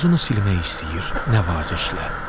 Tozunu silmək istəyir nəvazişlə.